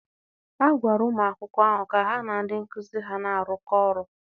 a gwara ụmụ akwụkwọ ahụ ka ha na ndị nkụzi ha na-arụkọ ọrụ.